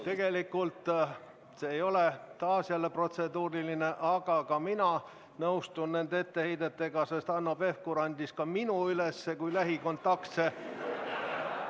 Tegelikult see ei ole taas protseduuriline küsimus, aga ka mina nõustun nende etteheidetega, sest Hanno Pevkur andis ka minu üles kui lähikontaktse.